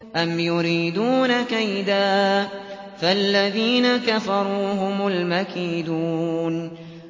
أَمْ يُرِيدُونَ كَيْدًا ۖ فَالَّذِينَ كَفَرُوا هُمُ الْمَكِيدُونَ